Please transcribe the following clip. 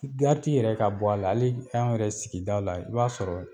yɛrɛ ka bɔ a la hali an yɛrɛ sigidaw la i b'a sɔrɔ